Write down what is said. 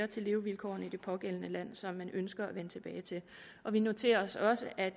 til levevilkårene i det pågældende land som man ønsker at vende tilbage til vi noterer os også at